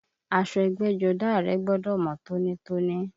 Aṣọ ẹgbẹ́jọdá rẹ gbọ́dọ̀ mọ́ tóní!